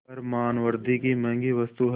पर मानवृद्वि की महँगी वस्तु है